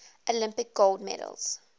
olympic gold medals